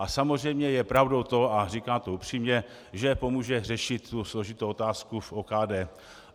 A samozřejmě je pravdou to, a říkám to upřímně, že pomůže řešit tu složitou otázku v OKD.